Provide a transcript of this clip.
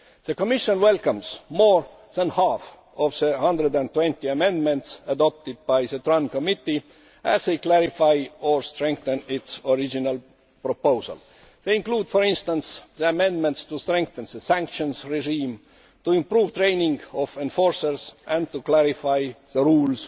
The Commission welcomes more than half of the 120 amendments adopted by the Transport Committee, as they clarify or strengthen its original proposal. They include, for instance, the amendments to strengthen the sanctions regime, to improve training of enforcers and to clarify the rules